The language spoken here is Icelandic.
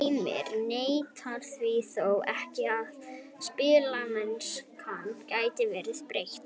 Heimir neitar því þó ekki að spilamennskan gæti verið betri.